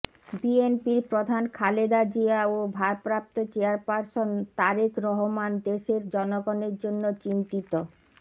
বিএনপির প্রধান খালেদা জিয়া ও ভারপ্রাপ্ত চেয়ারপারসন তারেক রহমান দেশের জনগণের জন্য চিন্তিত